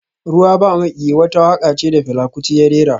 Ruwa ba maƙiyi wata waƙa ce da Fela Kuti ya rera